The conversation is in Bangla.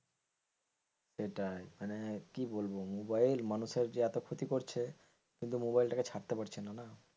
এটাই মানে কি বলবো মোবাইল মানুষের এত যে ক্ষতি করছে কিন্তু মোবাইলটাকে ছাড়তে পারছে না.